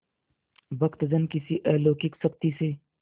भक्तजन किसी अलौकिक शक्ति से